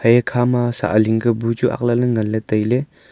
ekama sah ling bachu aak nganle ley taile.